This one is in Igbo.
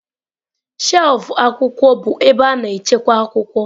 Shelfụ akwụkwọ bụ ebe a na-echekwa akwụkwọ.